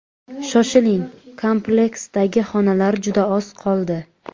Shoshiling, kompleksdagi xonadonlar juda oz qoldi.